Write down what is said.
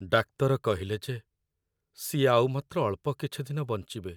ଡାକ୍ତର କହିଲେ ଯେ ସିଏ ଆଉ ମାତ୍ର ଅଳ୍ପ କିଛି ଦିନ ବଞ୍ଚିବେ ।